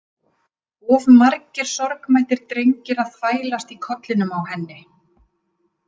Of margir sorgmæddir drengir að þvælast í kollinum á henni.